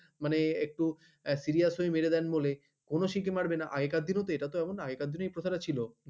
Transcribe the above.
মানে একটু serious হয়ে মেরে দেয় বলে কোন শিক্ষক মারবে না আগেকার দিনেও তো এটা এমন না এই প্রথাটা ছিল